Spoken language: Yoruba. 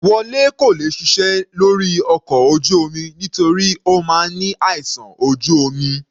Wole kò lè ṣiṣẹ́ lórí ọkọ̀ ojú omi nítorí Ó máa ní àìsàn ojú omi.